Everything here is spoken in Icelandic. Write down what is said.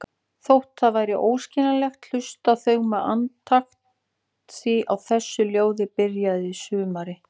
Þótt það væri óskiljanlegt, hlustuðu þau með andakt því á þessu ljóði byrjar sumarið.